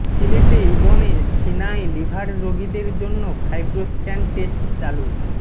সিলেটে ইবনে সিনায় লিভার রোগীদের জন্য ফাইব্রো স্ক্যান টেস্ট চালু